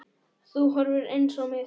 Þú horfir eins á mig.